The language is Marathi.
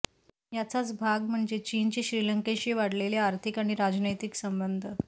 याचाच भाग म्हणजे चीनचे श्रीलंकेशी वाढलेले आर्थिक आणि राजनैतिक संबंध